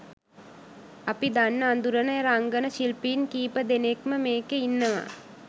අපි දන්න අඳුරන රංගන ශිල්පීන් කීපදෙනෙක්ම මේකෙ ඉන්නවා.